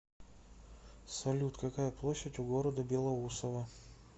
салют какая площадь у города белоусово